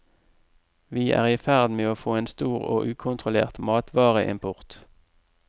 Vi er i ferd med å få en stor og ukontrollert matvareimport.